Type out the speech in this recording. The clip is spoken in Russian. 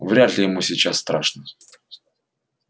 вряд ли ему сейчас страшно